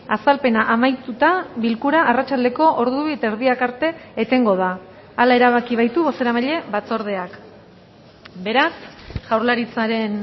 azalpena amaituta bilkura arratsaldeko ordu bi eta erdiak arte etengo da hala erabaki baitu bozeramaile batzordeak beraz jaurlaritzaren